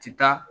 Ti taa